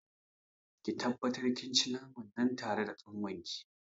Ki tabbatar kin ci naman nan tare da kanwarki.